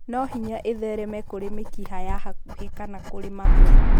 No hinya ĩthereme kũrĩ mĩkiha ya hakuhĩ kana kũrĩ mahũri.